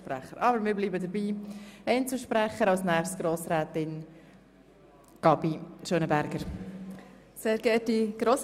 Doch wir bleiben bei unserem System und kommen zu den Einzelsprechern.